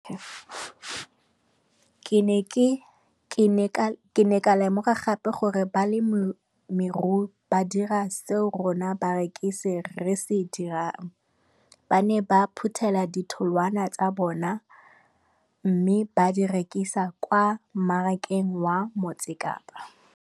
Ke ne ka lemoga gape gore balemirui ba dira seo rona barekisi re se dirang, ba ne ba phuthela ditholwana tsa bona mme ba di rekisa kwa marakeng wa Motsekapa.